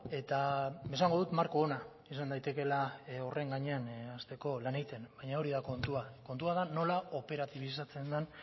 eta esango dut marko ona izan daitekeela horren gainean hasteko lan egiten baina hori da kontua kontua da nola operatibizatzen den